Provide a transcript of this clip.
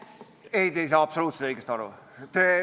Ei, te ei saa absoluutselt õigesti aru.